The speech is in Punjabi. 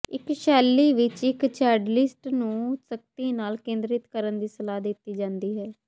ਇਸ ਸ਼ੈਲੀ ਵਿਚ ਇਕ ਚੈਂਡਲਿਸਟ ਨੂੰ ਸਖਤੀ ਨਾਲ ਕੇਂਦਰਿਤ ਕਰਨ ਦੀ ਸਲਾਹ ਦਿੱਤੀ ਜਾਂਦੀ ਹੈ